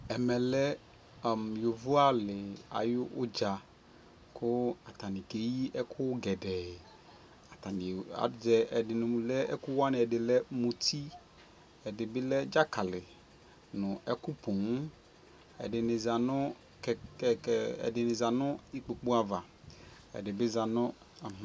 ɛmɛ lɛ yɔvɔ ali ayi ʋdza kʋ atani kɛyi ɛkʋ gɛdɛɛ, atani aza ɛdini lɛ ɛkʋ wani ɛdini lɛmʋti, ɛdi bi lɛ dzakali nʋ ɛkʋ pɔɔm, ɛdini zanʋ ikpɔkʋ aɣa ɛdi bi zanʋ